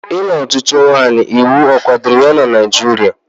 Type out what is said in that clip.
Ịlụ otu nwanyị iwu kwadoro na Naijiria?